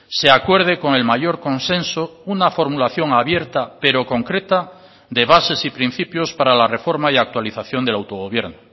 se acuerde con el mayor consenso una formulación abierta pero concreta de bases y principios para la reforma y actualización del autogobierno